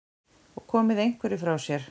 Og komið einhverju frá sér?